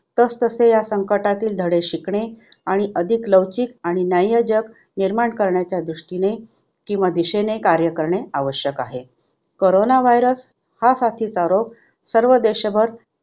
तसतसे ह्या संकटातील धडे शिकणे आणि अधिक लवचिक आणि न्याय्यजग निर्माण करण्याच्या दृष्टीने किंवा दिशेने कार्य करणे आवश्यक आहे. करोना virus हा साथीचा रोग सर्व देशभर